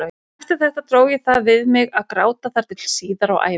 Eftir þetta dró ég það við mig að gráta þar til síðar á ævinni.